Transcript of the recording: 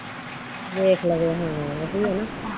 ਵੇਖ ਲਵੇ ਹਮ ਉਹੀ ਆ ਨਾ।